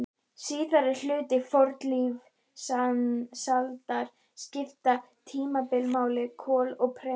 Síðari hluti fornlífsaldar skiptist í tímabilin kol og perm.